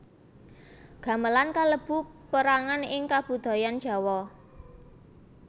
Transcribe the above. Gamelan kalebu perangan ing kabudayan Jawa